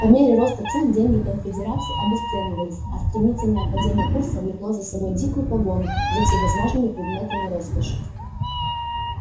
по мере роста цен деньги конфедерации обесценивались а стремительное падение курса влекло за собой дикую погоню за всевозможными предметами роскоши